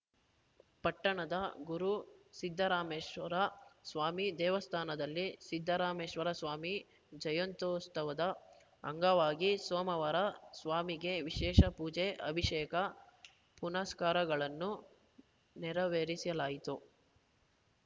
ಪಟ್ಟಣದ ಗುರು ಸಿದ್ಧರಾಮೇಶ್ವರ ಸ್ವಾಮಿ ದೇವಸ್ಥಾನದಲ್ಲಿ ಸಿದ್ದರಾಮೇಶ್ವರ ಸ್ವಾಮಿ ಜಯಂತ್ಯೋತ್ಸವದ ಅಂಗವಾಗಿ ಸೋಮವಾರ ಸ್ವಾಮಿಗೆ ವಿಶೇಷ ಪೂಜೆ ಅಭಿಷೇಕ ಪುನಸ್ಕಾರಗಳನ್ನು ನೆರವೇರಿಸಲಾಯಿತು